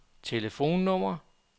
telefonnummer